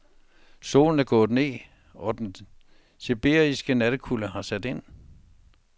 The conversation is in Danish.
Solen er gået ned, og den sibiriske nattekulde har sat ind.